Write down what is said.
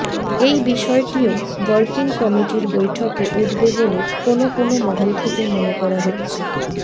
এই বিষয়টিও ওয়ার্কিং কমিটির বৈঠকে উঠবে বলে কোনও কোনও মহল থেকে মনে করা হচ্ছে